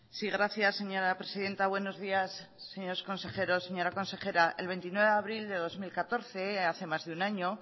sí gracias señora presidenta buenos días señores consejeros señora consejera el veintinueve de abril de dos mil catorce hace más de un año